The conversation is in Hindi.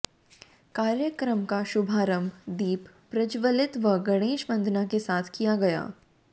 कार्यक्रम का शुभारम्भ दीप प्रज्ज्वलित व गणेश वंदना के साथ किया गया